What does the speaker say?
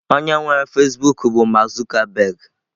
Onye nwere Fasịbụk bụ Mark Zuckerberg.